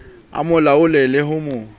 a mo laole le ho